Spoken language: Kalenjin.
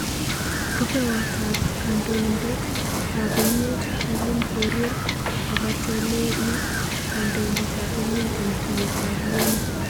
Rupewot ap kandoitet ap emet Willim korir kokatele hi kandoitet ap amet eng tuyet ap UN